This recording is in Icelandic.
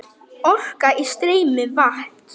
Orka í streymi vatns.